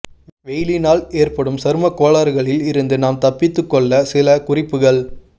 வெயிலினால் ஏற்படும் சருமக் கோளாறுகளில் இருந்து நாம் தப்பித்துக் கொள்ள சில குறிப்புகள்